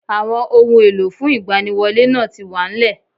Àwon ohun èlò fún ìgbaniwọlé náà ti wà nlẹ̀